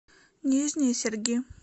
нижние серги